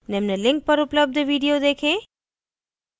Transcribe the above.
निम्न link पर उपलब्ध video देखें